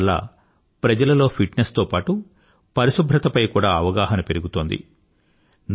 ఈ ఉద్యమం వల్ల ప్రజలలో ఫిట్నెస్ తో పాటూ పరిశుభ్రత పై కూడా అవగాహన పెరుగుతోంది